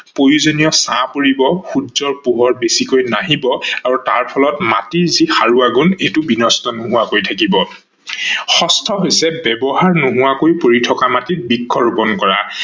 প্ৰয়োজনীয় ছাঁ পৰিব, সূৰ্যৰ পোহৰ বেছিকৈ নাহিব আৰু তাৰ ফলত মাটিৰ যি সাৰোৱা গুণ এইতো বিনষ্ট নোহোৱাকৈ থাকিব। ষষ্ঠ হৈছে ব্যৱহাৰ নোহোৱাকৈ পৰি থকা মাটিত বৃক্ষ ৰুপন কৰা